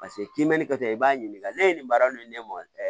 Paseke k'i mɛɛnni kɛ i b'a ɲininka ne ye nin baara nin ne mɔ ɛ